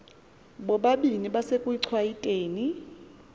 bobabini besekuchwayite ni